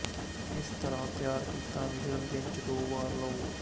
ਇਸ ਤਰ੍ਹਾਂ ਤਿਆਰ ਕੀਤਾ ਮਿਸ਼ਰਣ ਦਿਨ ਚ ਦੋ ਵਾਰ ਲਓ